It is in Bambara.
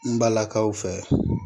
N balakaw fɛ